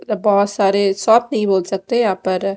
इधर बहोत सारे शॉप नहीं बोल सकते यहां पर--